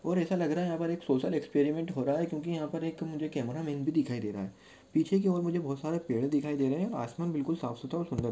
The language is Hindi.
और ऐसा लग रहा है यहाँ पर एक सोशल एक्सपेरिमेंट हो रहा है क्यूकी यहा पर एक मुझे कॅमेरामन भी दिखाई दे रहा है पीछे की और मुझे बहुत सारे पेड़ दिखाई दे रहे है आसमान बहुत ही साफसुथरा और सुंदर--